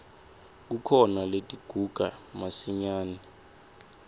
kukhona letiguga masinyane